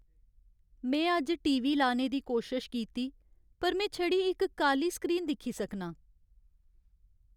में अज्ज TV. लाने दी कोशश कीती पर में छड़ी इक काली स्क्रीन दिक्खी सकनां।